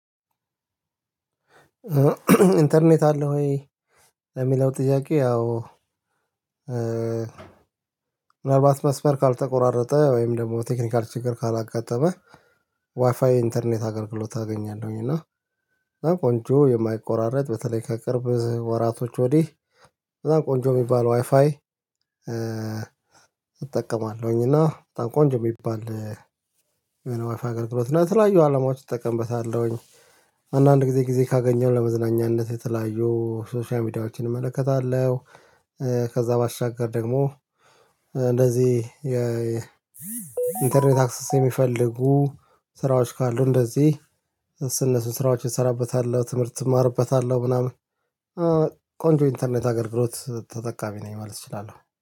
ኢንተርኔት አለህ ወይ? ለሚለው ጥያቄ አዎ ምናልባት መስመር ካልተቆራረጠ ወይም ደግሞ በቴክኒካል ችግር ካላጋጠመ ዋይፋይ ኢንተርኔት አገልግሎት አገኛለሁኝ። እና ቆንጆ የማይቆራረጥ በተለይ ከቅርብ ወራቶች ወዲህ በጣም ቆንጆ የሚባለው ዋይፋይ። እጠቀማለሁኝ እና በጣም ቆንጆ የሚባል የሆነ ወይፋ አገልግሎት እና የተለያዩ አላማዎች እጠቀምበታለሁኝ አንዳንድ ጊዜ ጊዜ ካገኘው ለመዝናኛነት የተለያዩ ሶሻል ሚዲያዎችን እመለከታለሁ። ከዛ ባሻገር ደግሞ እንደዚህ የኢንተርኔት አክሰስ የሚፈልጉ ስራዎች ካሉ እንደዚህ እነሱን ስራዎች እሰራበታለሁ ትምህርት እማርበታለሁ ምናምን። ኢንተርኔት አገልግሎት ተተካሚ ነኝ ማለት እችላለሁ